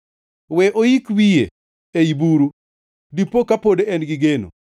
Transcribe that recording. We oik wiye ei buru, dipoka pod en gi geno.